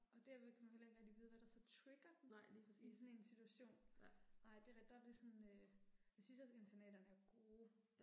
Og derved kan man jo heller ikke rigtig vide hvad der så trigger den i sådan en situation. Nej det er rigtigt der er det sådan øh. Jeg synes også internaterne er gode